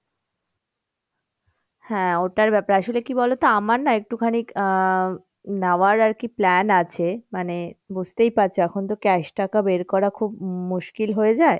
হ্যাঁ ওটার ব্যাপারে, আসলে কি বলতো আমার না একটুখানি আহ নাওয়ার আরকি plan আছে মানে বুঝতেই পারছো এখন তো cash টাকা বের করা খুব মুশকিল হয়ে যায়,